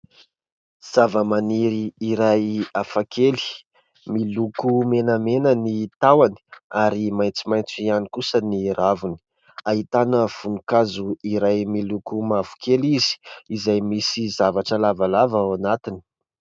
Zavamaniry iray hafa kely miloko menamena ny tahony ary maitsomaitso ihany kosa ny raviny. Ahitana voninkazo iray miloko mavokely izy izay misy zavatra lavalava ao anatiny.